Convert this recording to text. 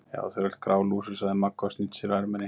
Já, þau eru öll grálúsug sagði Magga og snýtti sér á erminni.